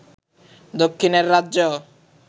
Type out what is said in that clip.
দক্ষিণের রাজ্য